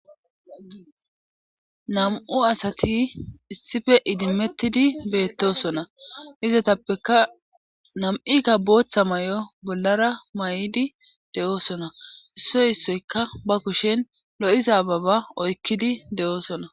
nam7u asati issife idimettidi beettosona izatappeka nam7ika booththa may7o bollara may7di de7oosona issoy issoyka ba kushen lo7iza baba oykkidi de7oosona